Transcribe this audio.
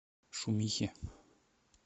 шумихе